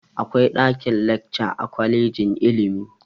Akwai ɗakin-lacca a kwalejin ilimi.